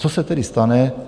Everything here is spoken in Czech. Co se tedy stane?